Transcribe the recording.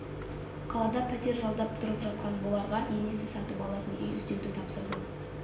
қалада пәтер жалдап тұрып жатқан бұларға енесі сатып алатын үй іздеуді тапсырды